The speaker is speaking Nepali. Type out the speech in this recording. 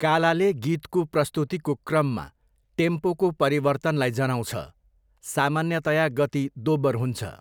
कालाले गीतको प्रस्तुतिको क्रममा टेम्पोको परिवर्तनलाई जनाउँछ, सामान्यतया गति दोब्बर हुन्छ।